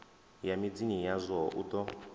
ya midzini yazwo u ḓo